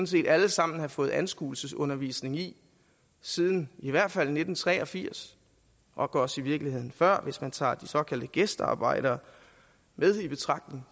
set alle sammen have fået anskuelsesundervisning i siden i hvert fald nitten tre og firs nok også i virkeligheden før hvis man tager de såkaldte gæstearbejdere med i betragtning